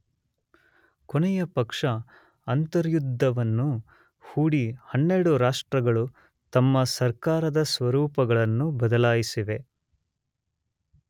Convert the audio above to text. ಕೊನೆಯ ಪಕ್ಷ ಅಂತರ್ಯುದ್ಧವನ್ನು ಹೂಡಿ 12 ರಾಷ್ಟ್ರಗಳು ತಮ್ಮ ಸರ್ಕಾರದ ಸ್ವರೂಪಗಳನ್ನು ಬದಲಾಯಿಸಿವೆ.